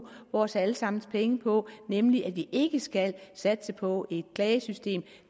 vores alle sammens penge på nemlig at vi ikke skal satse på et klagesystem